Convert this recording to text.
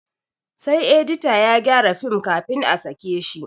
Sai edita ya gyara film kafin a sake shi